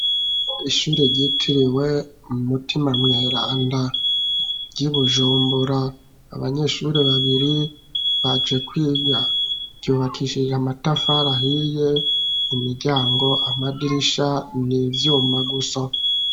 Ishuri ryitiriwe mu mutima mweranda ryi Bujumbura abanyeshuri babiri baje kwiga ryubakishije amatafari ahiye imiryango amadirisha n'ivyuma gusa.